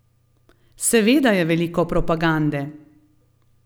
Seveda je veliko propagande.